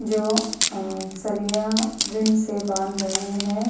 जो अ सरिया बीन से बांध रहे है।